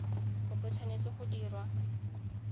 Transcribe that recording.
kopo e tshwanetse go dirwa